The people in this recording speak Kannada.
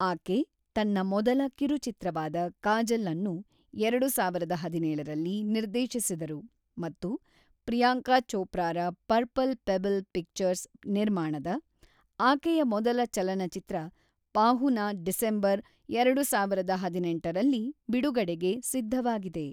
ಆಕೆ ತನ್ನ ಮೊದಲ ಕಿರುಚಿತ್ರವಾದ ಕಾಜಲ್ಅನ್ನು ಎರಡು ಸಾವಿರದ ಹದಿನೇಳರಲ್ಲಿ ನಿರ್ದೇಶಿಸಿದರು ಮತ್ತು ಪ್ರಿಯಾಂಕಾ ಚೋಪ್ರಾರ ಪರ್ಪಲ್ ಪೆಬಲ್ ಪಿಕ್ಚರ್ಸ್ ನಿರ್ಮಾಣದ ಆಕೆಯ ಮೊದಲ ಚಲನಚಿತ್ರ ʼಪಾಹುನಾ' ಡಿಸೆಂಬರ್ ಎರಡು ಸಾವಿರದ ಹದಿನೆಂಟರಲ್ಲಿ ಬಿಡುಗಡೆಗೆ ಸಿದ್ಧವಾಗಿದೆ.